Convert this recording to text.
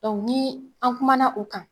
nii an kumana o kan